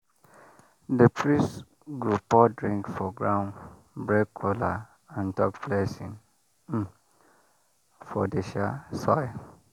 the priest go pour drink for ground break kola and talk blessing um for the um soil.